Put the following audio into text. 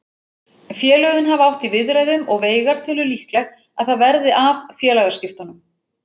Félögin hafa átt í viðræðum og Veigar telur líklegt að það verði af félagaskiptunum.